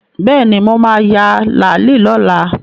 Bẹ́ẹ̀ni, mo ma ya làálí lọ́la